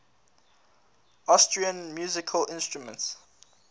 austrian musical instruments